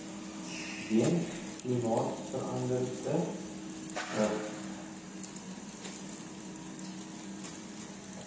weens klimaatsverande ring